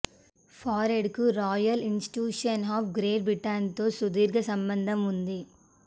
ఫారడేకు royal institution of great బ్రిటన్తో సుదీర్ఘ సంబంధం ఉంది